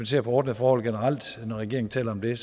ser på ordnede forhold når regeringen taler om det